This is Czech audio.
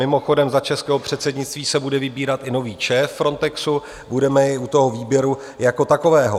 Mimochodem, za českého předsednictví se bude vybírat i nový šéf Frontexu, budeme i u toho výběru jako takového.